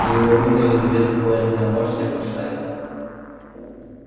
его выгнали из вест-пойнта можешь себе представить